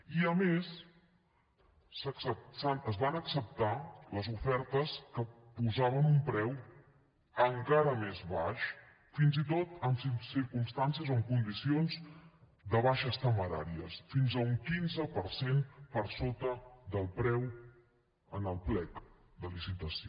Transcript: i a més es van acceptar les ofertes que posaven un preu encara més baix fins i tot en circumstàncies o en condicions de baixes temeràries fins a un quinze per cent per sota del preu en el plec de licitació